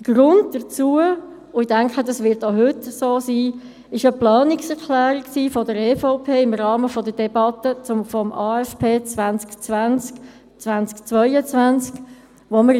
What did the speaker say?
Der Grund war – und ich denke, dass das auch heute so sein wird – eine Planungserklärung der EVP im Rahmen der Debatte zum Aufgaben- und Finanzplan (AFP)